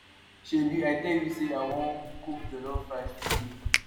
shebi i tell you say i wan cook jollof rice today